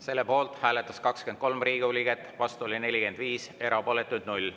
Selle poolt hääletas 23 Riigikogu liiget, vastu oli 45, erapooletuid 0.